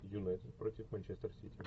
юнайтед против манчестер сити